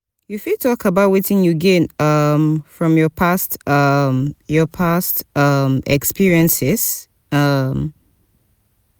you fit talk about wetin you gain um from your past um your past um experiences? um